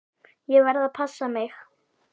Ég verð að passa mig.